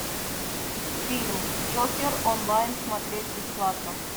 фильм джокер онлайн смотреть бесплатно